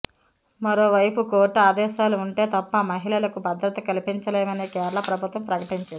మరోవైపు కోర్టు ఆదేశాలు ఉంటే తప్ప మహిళలకు భద్రత కల్పింలేమని కేరళ ప్రభుత్వం ప్రకటించింది